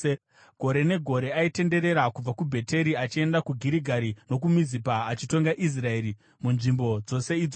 Gore negore aitenderera kubva kuBheteri achienda kuGirigari nokuMizipa, achitonga Israeri munzvimbo dzose idzodzo.